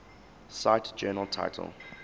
cite journal title